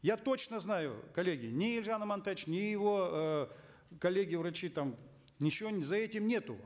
я точно знаю коллеги ни елжан амантаевич ни его э коллеги врачи там ничего за этим нету